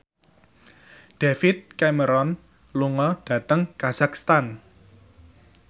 David Cameron lunga dhateng kazakhstan